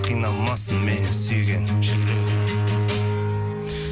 қиналмасын мені сүйген жүрегің